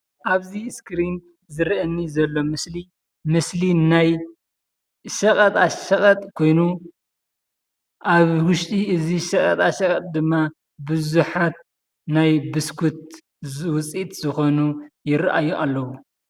ኣብዚ ስክሪን ዝረአየኒ ዘሎ ምስሊ ምስሊ ናይ ሸቐጣ ሸቐጥ ኮይኑ ኣብ ውሽጢ እዚ ሸቐጣ ሸቐጥ ድማ ብዙሓት ናይ ብስኩት ውፅኢት ዝኾኑ ይረኣዩ ኣለዉ፡፡